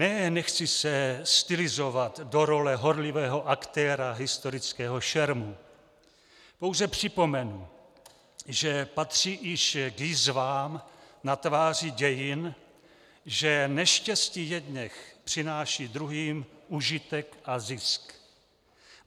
Ne, nechci se stylizovat do role horlivého aktéra historického šermu, pouze připomenu, že patří již k jizvám na tváři dějin, že neštěstí jedněch přináší druhým užitek a zisk.